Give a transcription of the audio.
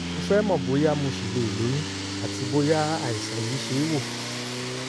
mo fẹ́ mọ̀ bóyá mo ṣì lè lóyún àti bóyá àìsàn yìí ṣe é wò